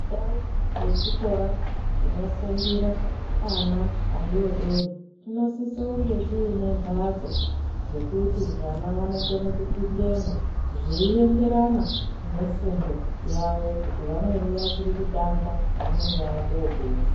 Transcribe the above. Ndau yechikora chinofundire ana adodori chinosise kunge chiine mbatso dzekuti vana vanokone kupindemwo zveienderana nefundo yavo kuti vamweni vachiri kutanga, vamweni vakoopedza